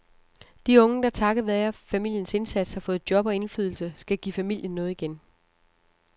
De unge, der takket være familiens indsats har fået job og indflydelse, skal give familien noget igen.